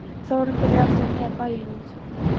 Þórunn byrjar aftur að miða bæinn út